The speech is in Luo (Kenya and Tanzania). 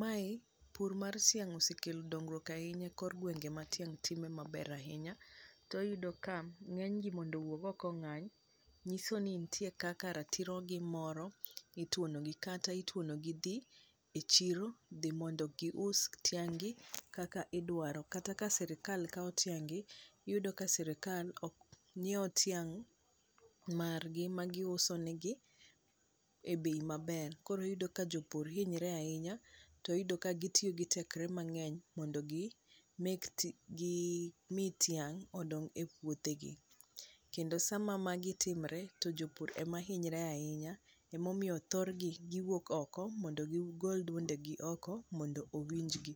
mae pur mar tiang osekelo dongruok ahinya e kor gwenge ma tiang time maber ahinya to iyudo ka ng'eny ji mondo owuo oko ong'any nyiso ni nitite kaka ratirogi moro ituono gi kata ituono gi dhi chiro dhi mondo gi us ting' gi kaka idwaro ,kata ka sirikal kawo ting' gi iyudo ka sirikal ok nyiew tiang' mar gi ma gi uso ne gi e bei maber, koro iyudo ka jopur hinyre ahinya to iyudo ka gitiyo gi tekre mang'eny mondo gi ni tiang odong' e puodhe gi kendo sama magi timre t jopur ema hinyre ahinya emomiyo thorgi giwuok oko mondo gigol duonde gi oko mondo owinj gi.